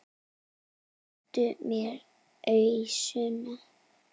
Réttu mér ausuna!